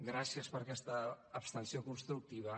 gràcies per aquesta abstenció constructiva